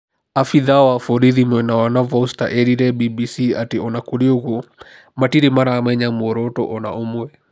Abĩtha wa borithi mwena wa Navasota eerire BBC atĩ o na kũrĩ ũguo, matirĩ maramamenya mũoroto o na ũmwe.